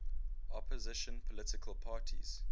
opposition political parties